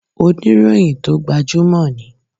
Oníròyìn tó gbajúmò ni.